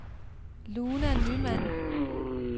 Luna Nymann